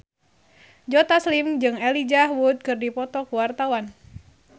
Joe Taslim jeung Elijah Wood keur dipoto ku wartawan